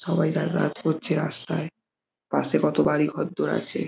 সবাই করছে রাস্তায় পাশে কত বাড়ি ঘরদোর আছে।